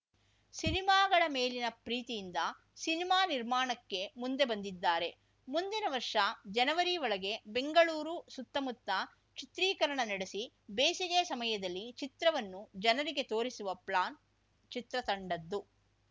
ಸಿನಿಮಾಗಳ ಮೇಲಿನ ಪ್ರೀತಿಯಿಂದ ಸಿನಿಮಾ ನಿರ್ಮಾಣಕ್ಕೆ ಮುಂದೆ ಬಂದಿದ್ದಾರೆ ಮುಂದಿನ ವರ್ಷ ಜನವರಿ ಒಳಗೆ ಬೆಂಗಳೂರು ಸುತ್ತಮುತ್ತ ಚಿತ್ರೀಕರಣ ನಡೆಸಿ ಬೇಸಿಗೆ ಸಮಯದಲ್ಲಿ ಚಿತ್ರವನ್ನು ಜನರಿಗೆ ತೋರಿಸುವ ಪ್ಲಾನ್‌ ಚಿತ್ರತಂಡದ್ದು